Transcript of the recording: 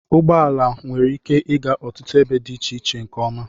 Ụgbọ ala nwere ike ịga ọtụtụ ebe dị iche iche nke ọma.